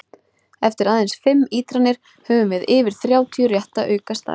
Eftir aðeins fimm ítranir höfum við yfir þrjátíu rétta aukastafi!